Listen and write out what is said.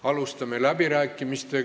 Alustame läbirääkimisi.